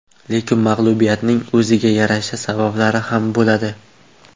Lekin mag‘lubiyatning o‘ziga yarasha sabablari ham bo‘ladi.